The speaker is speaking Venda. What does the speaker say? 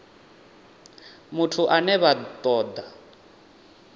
muthu ane vha ṱo ḓa